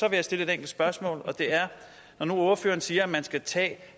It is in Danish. jeg stille et enkelt spørgsmål og det er når nu ordføreren siger at man skal tage